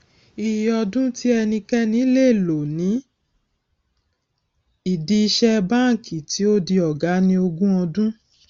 ìyè ọdún tí ẹnikẹni lè lò ní ìdí ìṣe banki tí ó di ọgá ni ogún ọdún